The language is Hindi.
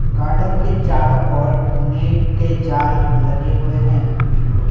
गार्डन के चारों ओर नेट के जाल लगे हुए हैं।